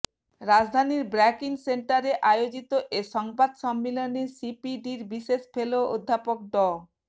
রাজধানীর ব্র্যাক ইন সেন্টারে আয়োজিত এ সংবাদ সম্মেলনে সিপিডির বিশেষ ফেলো অধ্যাপক ড